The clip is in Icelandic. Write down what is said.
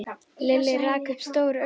Lilli rak upp stór augu.